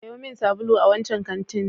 Sayo min sabulu a wancan kantin.